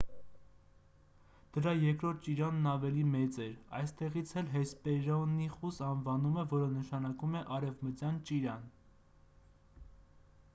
դրա երկրորդ ճիրանն ավելի մեծ էր այստեղից էլ հեսպերոնիխուս անվանումը որ նշանակում է արևմտյան ճիրան